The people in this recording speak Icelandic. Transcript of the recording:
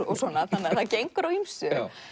það gengur á ýmsu